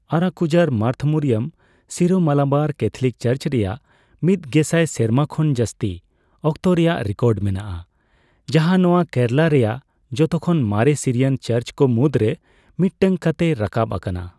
Arakuzha Marth Mariam Syro Malabar Catholic church ᱨᱮᱭᱟᱜ ᱢᱤᱛᱜᱮᱥᱟᱭ ᱥᱮᱨᱢᱟ ᱠᱷᱚᱱ ᱡᱟᱹᱥᱛᱤ ᱚᱠᱛᱚ ᱨᱮᱭᱟᱜ ᱨᱮᱠᱚᱨᱰ ᱢᱮᱱᱟᱜᱼᱟ, ᱡᱟᱦᱟᱸ ᱱᱚᱣᱟ ᱠᱮᱨᱟᱞᱟ ᱨᱮᱭᱟᱜ ᱡᱷᱚᱛᱚᱠᱷᱚᱱ ᱢᱟᱨᱮ ᱥᱤᱨᱤᱭᱟᱱ ᱪᱟᱨᱪ ᱠᱚ ᱢᱩᱫᱨᱮ ᱢᱤᱫᱴᱟᱝ ᱠᱟᱛᱮ ᱨᱟᱠᱟᱵ ᱟᱠᱟᱱᱟ ᱾